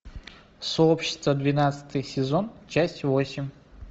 сообщество двенадцатый сезон часть восемь